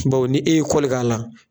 Bawo e ye kɔli k'a la.